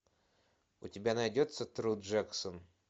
у тебя найдется тру джексон